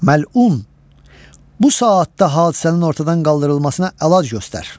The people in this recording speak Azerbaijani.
Məlun, bu saatda hadisənin ortadan qaldırılmasına əlac göstər.